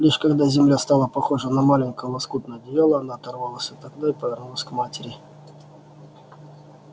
лишь когда земля стала похожа на маленькое лоскутное одеяло она оторвалась от окна и повернулась к матери